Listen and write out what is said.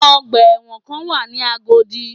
Ọgbà ẹ̀wọ̀ kan wà ní Agodi